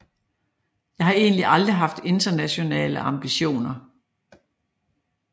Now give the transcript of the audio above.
Jeg har egentlig aldrig haft internationale ambitioner